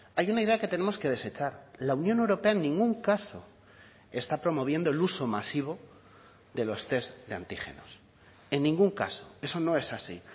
hay una idea que tenemos que desechar la unión europea en ningún caso está promoviendo el uso masivo de los test de antígenos en ningún caso eso no es así